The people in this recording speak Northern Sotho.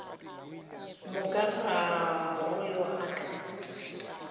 moka ga go yo a